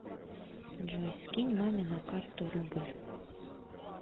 джой скинь маме на карту рубль